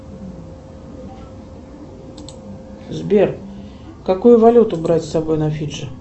сбер какую валюту брать с собой на фиджи